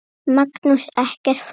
Magnús: Ekkert flókið?